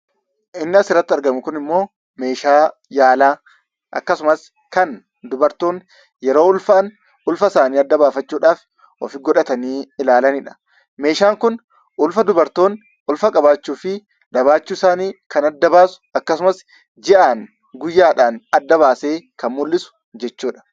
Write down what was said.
Kan as irratti argamu kun meeshaa yaalaa akkasumas kan dubartoonni yeroo ulfa godhatan ittiin ilaalamanii dha. Meeshaan kun dubartoonni ulfa qabaachuu fi qabaachuu dhabuu isaanii guyyaan, ji'aan kan adda baasee mul'isuu dha.